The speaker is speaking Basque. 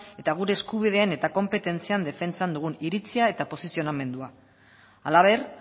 eta gure eskubideen eta konpetentzian defentsan dugun iritzia eta posizionamendua halaber